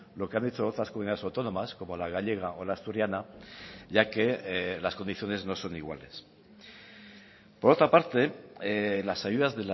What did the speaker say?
lo que han hecho otras comunidades autónomas como la gallega o la asturiana ya que las condiciones no son iguales por otra parte las ayudas